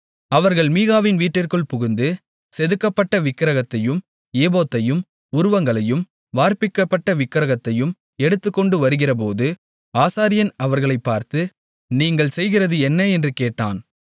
அவர்கள் மீகாவின் வீட்டிற்குள் புகுந்து செதுக்கப்பட்ட விக்கிரகத்தையும் ஏபோத்தையும் உருவங்களையும் வார்ப்பிக்கப்பட்ட விக்கிரகத்தையும் எடுத்துக்கொண்டு வருகிறபோது ஆசாரியன் அவர்களைப் பார்த்து நீங்கள் செய்கிறது என்ன என்று கேட்டான்